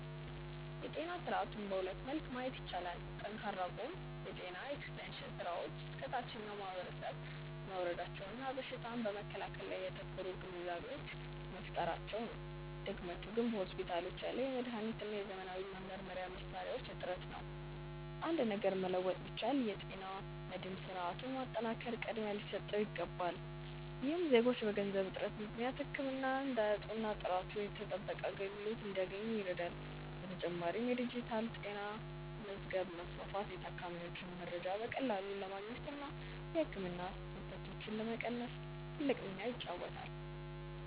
የጤና ስርዓቱን በሁለት መልክ ማየት ይቻላል። ጠንካራው ጎን የጤና ኤክስቴንሽን ስራዎች እስከ ታችኛው ማህበረሰብ መውረዳቸውና በሽታን በመከላከል ላይ ያተኮሩ ግንዛቤዎች መፈጠራቸው ነው። ድክመቱ ደግሞ በሆስፒታሎች ያለው የመድኃኒትና የዘመናዊ መመርመሪያ መሣሪያዎች እጥረት ነው። አንድ ነገር መለወጥ ቢቻል፣ የጤና መድህን ስርዓቱን ማጠናከር ቅድሚያ ሊሰጠው ይገባል። ይህም ዜጎች በገንዘብ እጥረት ምክንያት ህክምና እንዳያጡና ጥራቱ የተጠበቀ አገልግሎት እንዲያገኙ ይረዳል። በተጨማሪም የዲጂታል ጤና መዝገብ ማስፋፋት የታካሚዎችን መረጃ በቀላሉ ለማግኘትና የህክምና ስህተቶችን ለመቀነስ ትልቅ ሚና ይጫወታል።